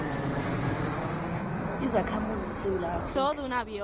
ubakhamuzi besewula afrika